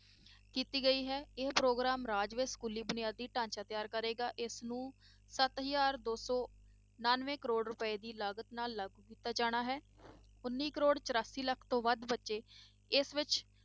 ਕੀਤੀ ਗਈ ਹੈ, ਇਹ ਪ੍ਰੋਗਰਾਮ ਰਾਜ ਵਿੱਚ ਸਕੂਲੀ ਬੁਨਿਆਦੀ ਢਾਂਚਾ ਤਿਆਰ ਕਰੇਗਾ ਇਸਨੂੰ ਸੱਤ ਹਜ਼ਾਰ ਦੋ ਸੌ ਉਨਾਨਵੇਂ ਕਰੌੜ ਰੁਪਏ ਦੀ ਲਾਗਤ ਨਾਲ ਲਾਗੂ ਕੀਤਾ ਜਾਣਾ ਹੈ, ਉੱਨੀ ਕਰੌੜ ਚੁਰਾਸੀ ਲੱਖ ਤੋਂ ਵੱਧ ਬੱਚੇ ਇਸ ਵਿੱਚ